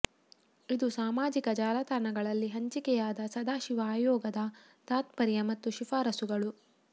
ಇದು ಸಾಮಾಜಿಕ ಜಾಲತಾಣಗಳಲ್ಲಿ ಹಂಚಿಕೆಯಾದ ಸದಾಶಿವ ಆಯೋಗದ ತಾತ್ಪರ್ಯ ಮತ್ತು ಶಿಫಾರಸುಗಳು